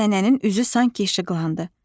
Nənənin üzü sanki işıqlandı.